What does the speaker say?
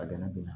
A gɛlɛn bɛ na